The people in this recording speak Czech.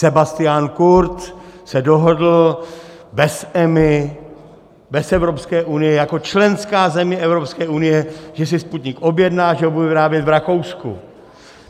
Sebastian Kurz se dohodl bez EMA, bez Evropské unie jako členská země Evropské unie, že si Sputnik objedná, že ho budou vyrábět v Rakousku.